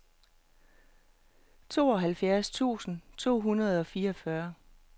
tooghalvfjerds tusind to hundrede og fireogfyrre